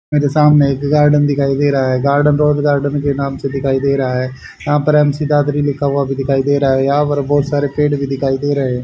मेरे सामने एक गार्डन दिखाई दे रहा है गार्डन रोज़ गार्डन के नाम से दिख रहा है यहां पर एम_सी दादरी लिखा हुआ भी दिखाई दे रहा है यहां पर बहोत सारे पेड़ भी दिख दे रहे है।